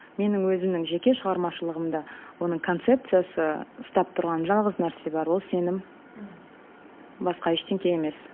менің өзімнің жеке шығармашылығымда оның концепциясы ұстап тұрған жалғыз нәрсе бар ол сенім басқа ештеңе емес